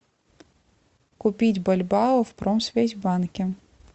купить бальбоа в промсвязьбанке